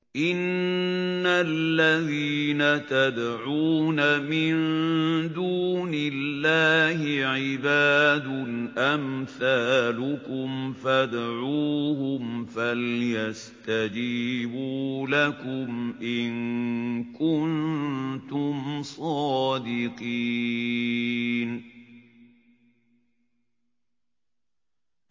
إِنَّ الَّذِينَ تَدْعُونَ مِن دُونِ اللَّهِ عِبَادٌ أَمْثَالُكُمْ ۖ فَادْعُوهُمْ فَلْيَسْتَجِيبُوا لَكُمْ إِن كُنتُمْ صَادِقِينَ